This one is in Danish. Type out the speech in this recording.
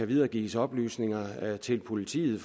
videregives oplysninger til politiet